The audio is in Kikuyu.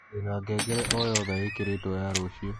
ndĩna ngengere o yothe ĩkĩrĩtwo ya rũcĩũ